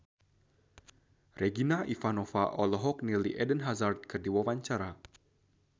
Regina Ivanova olohok ningali Eden Hazard keur diwawancara